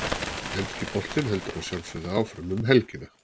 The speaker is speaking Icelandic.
Enski boltinn heldur að sjálfsögðu áfram um helgina.